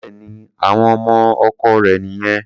Bẹ́ẹ̀ni, àwọn ọmọ ọkọ rẹ̀ nìyẹn.